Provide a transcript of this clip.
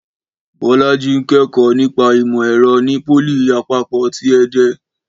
Bọ́lájí ń kẹ́kọ̀ọ́ nípa ìmọ̀ ẹ̀rọ ni pólì àpapọ̀ ti Ẹdẹ